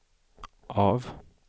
av